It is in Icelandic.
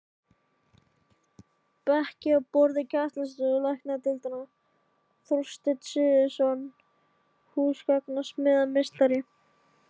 Bekki og borð í kennslustofur læknadeildar: Þorsteinn Sigurðsson, húsgagnasmíðameistari.